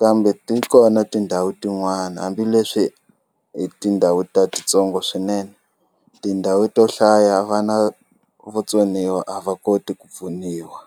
kambe ti kona tindhawu tin'wana hambileswi hi tindhawu ta titsongo swinene tindhawu to hlaya vana vo tsoniwa a va koti ku pfuniwa.